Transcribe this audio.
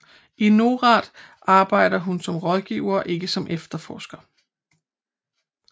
I NORAD arbejder hun som rådgiver og ikke som efterforsker